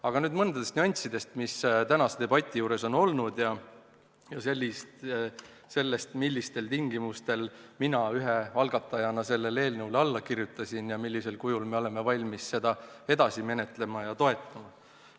Aga nüüd mõningatest nüanssidest, mis tänase debati juures on olnud, ja sellest, millistel tingimustel mina ühe algatajana sellele eelnõule alla kirjutasin ja millisel kujul me oleme valmis seda edasi menetlema ja toetama.